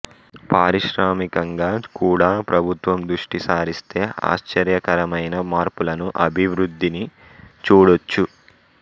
పారిశ్రామికంగా కూడా ప్రభుత్వం దృష్టిసారిస్తే ఆశ్చర్యకరమైన మార్పులను అభివృధ్ధినీ చూడొచ్చు